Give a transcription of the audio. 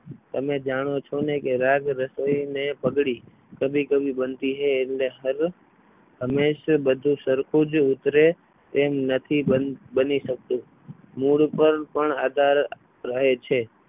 તમે જાણો છો ને કે રાજ રસોઈ અને પગડી કભી કભી બનતી હૈ એટલે હર હંમેશા બધું સરખું જ ઉતરે તેમ નથી બની શકતું. મૂળ પર પણ આધાર રહે છે.